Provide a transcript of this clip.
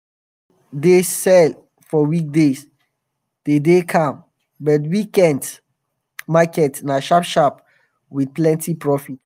market wey dey sell for weekday de dey calm but weekend market na sharp sharp with plenty profit.